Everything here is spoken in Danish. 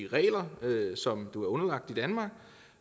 regler som du er underlagt